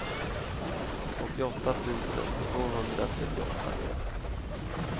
åttioåtta tusen tvåhundratrettioåtta